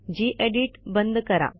जी edit बंद करा